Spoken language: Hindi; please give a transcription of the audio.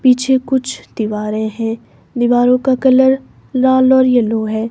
पीछे कुछ दीवारें हैं दीवारों का कलर लाल और येलो है।